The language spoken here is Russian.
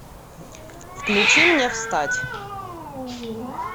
включи мне встать